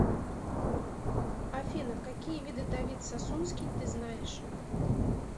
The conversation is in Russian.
афина какие виды давид сасунский ты знаешь